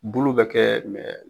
Bulu bɛ kɛ